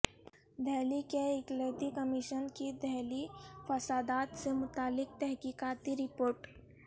دہلی کے اقلیتی کمیشن کی دہلی فسادات سےمتعلق تحقیقاتی رپورٹ